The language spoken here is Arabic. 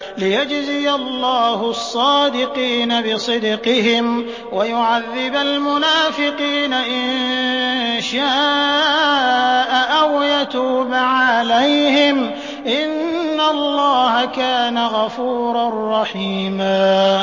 لِّيَجْزِيَ اللَّهُ الصَّادِقِينَ بِصِدْقِهِمْ وَيُعَذِّبَ الْمُنَافِقِينَ إِن شَاءَ أَوْ يَتُوبَ عَلَيْهِمْ ۚ إِنَّ اللَّهَ كَانَ غَفُورًا رَّحِيمًا